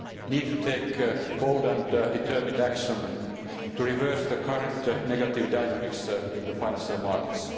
need to take bold and determined action to reverse the current negative dynamics in the financial markets.